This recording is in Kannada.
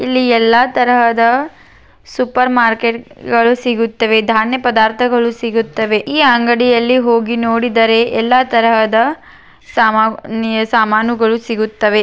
ಇಲ್ಲಿ ಎಲ್ಲಾ ತರಹದ ಸೂಪರ ರ್ಮಾರ್ಕೆಟ್ಗ ಳು ಸಿಗುತ್ತವೆ ಧಾನ್ಯಪದಾರ್ಥಗಳು ಸಿಗುತ್ತವೆ ಈ ಅಂಗಡಿಯಲ್ಲಿ ಹೋಗಿ ನೋಡಿದರೆ ಎಲ್ಲಾ ತರಹದ ಸಾಮಾನ್ಯ ಸಾಮಾನುಗಳು ಸಿಗುತ್ತವೆ.